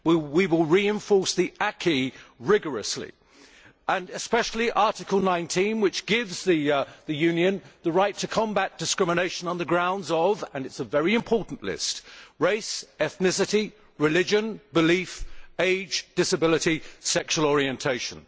We will enforce the acquis rigorously, and especially Article 19, which gives the Union the right to combat discrimination on the grounds of and it is a very important list race, ethnicity, religion, belief, age, disability and sexual orientation.